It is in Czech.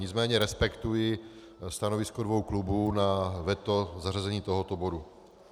Nicméně respektuji stanovisko dvou klubů na veto zařazení tohoto bodu.